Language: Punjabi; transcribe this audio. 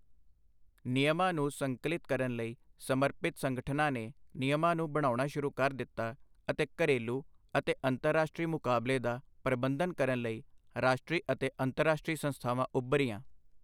ਨਿਯਮਾਂ ਨੂੰ ਸੰਕਲਿਤ ਕਰਨ ਲਈ ਸਮਰਪਿਤ ਸੰਗਠਨਾਂ ਨੇ ਨਿਯਮਾਂ ਨੂੰ ਬਣਾਉਣਾ ਸ਼ੁਰੂ ਕਰ ਦਿੱਤਾ, ਅਤੇ ਘਰੇਲੂ ਅਤੇ ਅੰਤਰਰਾਸ਼ਟਰੀ ਮੁਕਾਬਲੇ ਦਾ ਪ੍ਰਬੰਧਨ ਕਰਨ ਲਈ ਰਾਸ਼ਟਰੀ ਅਤੇ ਅੰਤਰਰਾਸ਼ਟਰੀ ਸੰਸਥਾਵਾਂ ਉੱਭਰੀਆਂ।